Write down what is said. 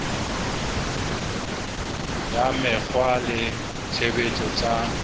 ya mekgwa le tshebetso tsa